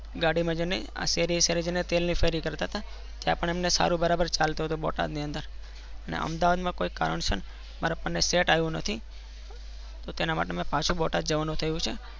ગાડી મજની કરતા હતા. તેલ ની ફેરી કરતા હતા. ત્યાં પણ અમ ને સારું બરાબર ચલ તો હતો બોટાદ ની અંદર ને અમદાવાદ માં કોઈ કારણ સર મારા પપ્પા ને set આવીં નથી. તો તેના માટે પાછુ બોટાદ જવા નું થાઉં છે.